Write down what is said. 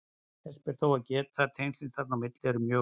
Þess ber þó að geta að tengslin þarna á milli eru mjög óljós.